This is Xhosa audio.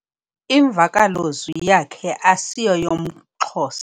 Imvakalozwi yakhe asiyoyamXhosa.